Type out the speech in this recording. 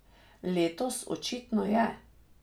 Letos očitno je.